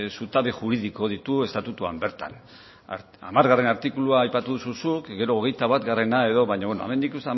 zutabe juridiko ditu estatutuan bertan hamargarrena artikulua aipatu duzu zuk gero hogeita batgarrena edo baina beno hemen ikusten